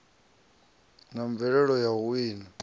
na mvelelo ya u wina